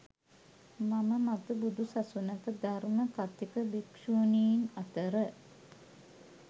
මම මතු බුදු සසුනක ධර්ම කථික භික්ෂුණීන් අතර